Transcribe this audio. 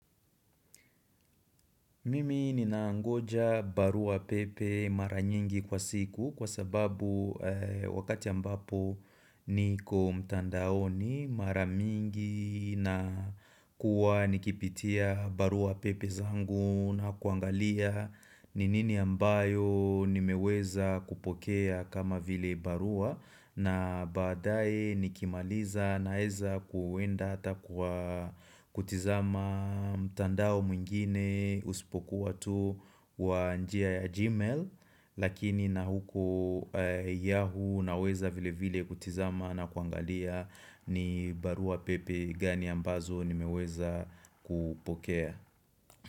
Mimi ninangoja barua pepe mara nyingi kwa siku kwa sababu wakati ambapo niko mtandaoni mara mingi na kuwa nikipitia barua pepe zangu na kuangalia ni nini ambayo nimeweza kupokea kama vile barua na baadaye nikimaliza naeza kuwenda hata kwa kutizama mtandao mwingine usipokuwa tu wa njia ya gmail Lakini na huko yahoo naweza vile vile kutizama na kuangalia ni barua pepe gani ambazo nimeweza kupokea.